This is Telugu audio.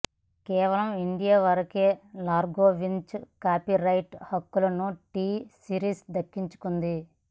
కేవలం ఇండియా వరకే లార్గోవించ్ కాపీ రైట్ హక్కులను టీ సిరీస్ దక్కించుకుంది